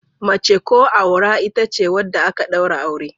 Mace ko aura ita ce wadda aka daura aure.